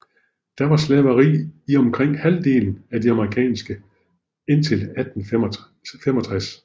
Der var slaveri i omkring halvdelen af de amerikanske indtil 1865